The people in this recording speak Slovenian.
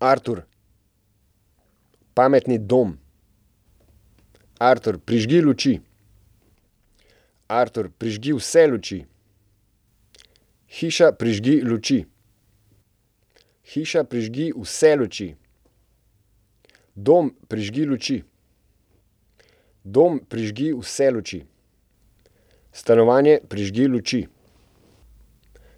Artur. Pametni dom. Artur, prižgi luči. Artur, prižgi vse luči. Hiša, prižgi luči. Hiša, prižgi vse luči. Dom, prižgi luči. Dom, prižgi vse luči. Stanovanje, prižgi luči.